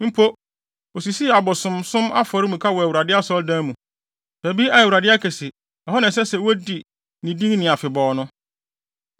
Mpo, osisii abosonsom afɔremuka wɔ Awurade Asɔredan mu, baabi a Awurade aka se, ɛhɔ na ɛsɛ sɛ wodi ne din ni afebɔɔ no.